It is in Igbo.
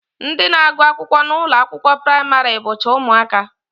Ndị na-agụ akwụkwọ n'ụlọakwụkwọ praịmarị bụcha ụmụaka